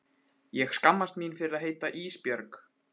Ég skammast mín fyrir að heita Ísbjörg.